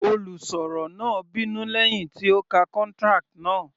Olùsọ̀rọ̀ náà bínú lẹ́hìn tí ó ka contract náà.